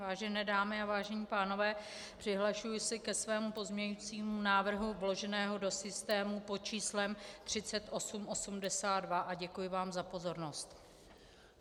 Vážené dámy a vážení pánové, přihlašuji se ke svému pozměňovacímu návrhu vloženému do systému pod číslem 3882 a děkuji vám za pozornost.